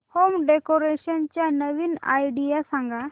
home decoration च्या नवीन idea सांग